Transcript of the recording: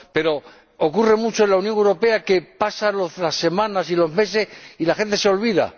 Pero, ocurre mucho en la Unión Europea, pasan las semanas y los meses y la gente se olvida.